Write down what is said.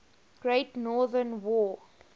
great northern war